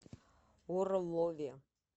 орлове